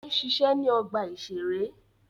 Ó ń ṣiṣẹ́ ní ọgbà-ìṣeré